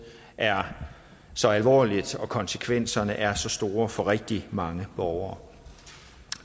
er så alvorligt og konsekvenserne er så store for rigtig mange borgere